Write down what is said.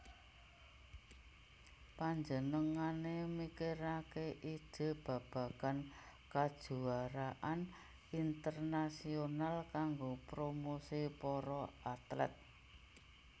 Panjenengané mikiraké ide babagan kajuaraan internasional kanggo promosi para atlet